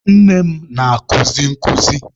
Nne m na-akuzi nkuzi.